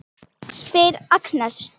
spyr Agnes.